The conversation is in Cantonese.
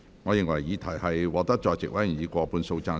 我認為議題獲得在席委員以過半數贊成。